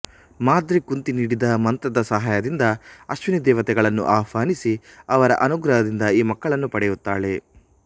ಮಾದ್ರಿ ಕುಂತಿ ನೀಡಿದ ಮಂತ್ರದ ಸಹಾಯದಿಂದ ಅಶ್ವಿನಿ ದೇವತೆಗಳನ್ನು ಆಹ್ವಾನಿಸಿ ಅವರ ಅನುಗ್ರಹದಿಂದ ಈ ಮಕ್ಕಳನ್ನು ಪಡೆಯುತ್ತಾಳೆ